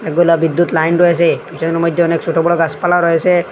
এগুলা বিদুৎ লাইন রয়েসে পিছনের মইদ্যে অনেক সোটো বড়ো গাসপালাও রয়েসে ।